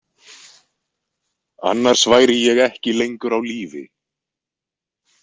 Annars væri ég ekki lengur á lífi.